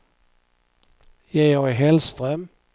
Georg Hellström